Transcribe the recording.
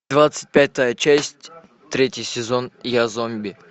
двадцать пятая часть третий сезон я зомби